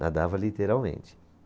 Nadava literalmente.